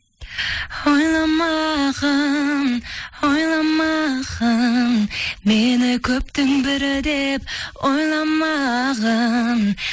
ойламағың ойламағың мені көптің бірі деп ойламағың